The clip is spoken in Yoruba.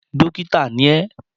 Dókítà ni ẹ!